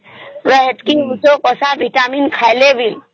ଏତିକି ଓଷଧ ଏଟା ଭିଟାମିନ ଖାଇଲେ ବି